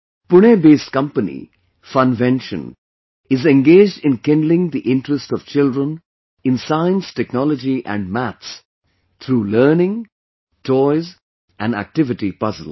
Punebased company, Funvention is engaged in kindling the interest of children in Science, Technology and Maths through Learning, Toys and Activity Puzzles